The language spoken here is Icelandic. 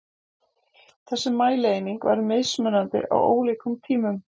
Þessi mælieining var mismunandi á ólíkum tímum.